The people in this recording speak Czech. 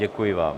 Děkuji vám.